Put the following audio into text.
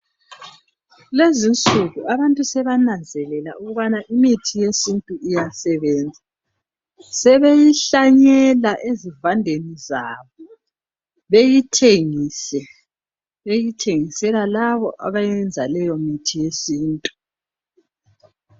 Lezinsuku abantu sebananzelela ukubana imithi yesintu iyasebenza. Sebeyihlanyela ezivandeni zabo ,beyithengise .Beyithengisela labo abayenza leyo mithi yesintu .